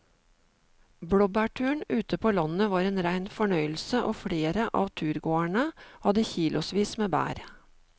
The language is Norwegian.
Blåbærturen ute på landet var en rein fornøyelse og flere av turgåerene hadde kilosvis med bær.